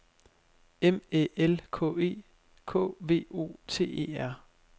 M Æ L K E K V O T E R